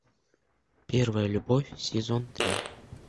первая любовь сезон три